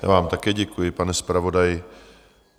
Já vám také děkuji, pan zpravodaji.